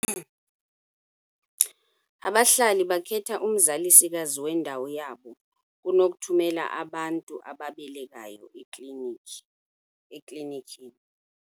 Abahlali bakhetha umzalisikazi wendawo yabo kunokuthumela abantu ababelekayo eklinikhi eklinikhini.